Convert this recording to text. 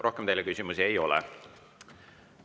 Rohkem teile küsimusi ei ole.